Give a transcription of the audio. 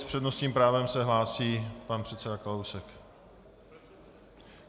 S přednostním právem se hlásí pan předseda Kalousek.